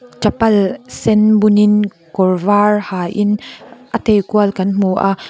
chappal sen bunin kawr var ha in a tei kual kan hmu a--